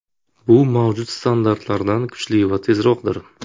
Bu mavjud standartlardan kuchli va tezroqdir.